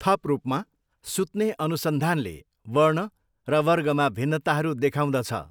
थप रूपमा, सुत्ने अनुसन्धानले वर्ण र वर्गमा भिन्नताहरू देखाउँदछ।